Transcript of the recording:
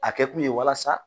A kɛ kun ye walasa